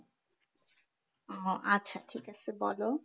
ও আচ্ছা ঠিক আছে বলো